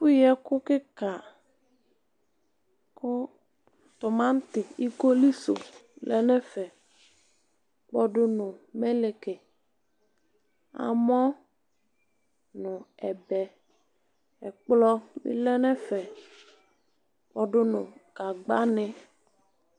Ɛfʋyi ɛkʋ kika kʋ tumati ikolisʋ lɛnʋ ɛfɛ kpɔdu nʋ mɛlɛki amɔ nʋ ɛbɛ ɛkplɔ bi lɛnʋ ɛfɛ kpɔdu nʋ gagbani